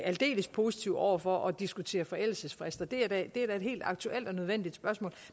aldeles positive over for at diskutere forældelsesfrister det er da et helt aktuelt og nødvendigt spørgsmål